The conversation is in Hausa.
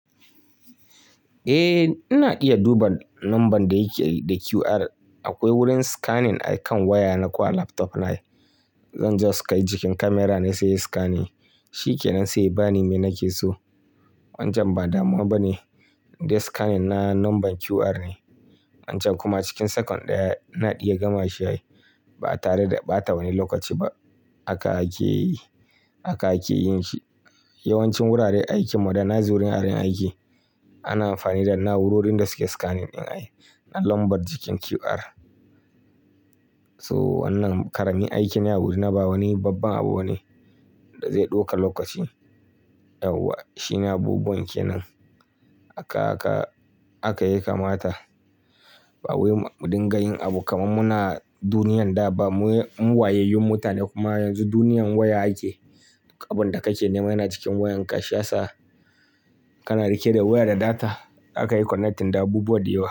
Eh, ina iya duba number da yake da QR. Akwai wurin scanning akan waya na ko a laptop na. Zan je su kai jikin kyamara ne sai in yi scanning. Shikenan sai ya bani me nake so. Wancan ba damuwa ba ne, in dai scanning na number QR ne. Wancan kuma cikin second ɗaya ina iya gama shi ai ba tare da ɓata wani lokaci ba. Haka ake yi, haka ake yin shi. Yawancin wuraren aikin mu da na zuriyar yin aiki, ana amfani da na'urorin da suke scanning in ai na lambar jikin QR. So wannan ƙaramin aiki ne a wuri na ba wani babban abu bane da zai ɗauka lokaci. Yauwa shine abubuwan ke nan. Aka aka aka ya ka mata. Ba wai wai mu dinga yin abu kamar muna duniyar da ba. Mu wayayyun mutane kuma yanzu duniyar waya ake. Abin da kake nema yana cikin wayanka. Shi yasa ka na rike da waya da data zaka yi connecting da abubuwa da yawa.